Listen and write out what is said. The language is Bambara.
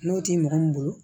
N'o tɛ mɔgɔ min bolo